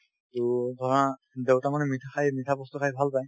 to ধৰা দেউতা মানে মিঠা খাই মিঠা বস্তু খাই ভাল পায়